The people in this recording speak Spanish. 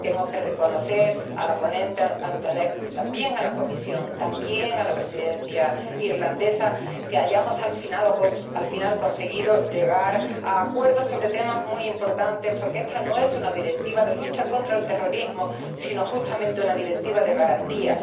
Tengo que reconocer a la ponente Antonescu, también a la Comisión, también a la Presidencia irlandesa, que al final hayamos conseguido llegar a acuerdos sobre temas muy importantes, porque esta no es una Directiva de lucha contra el terrorismo sino, justamente, una Directiva de garantías.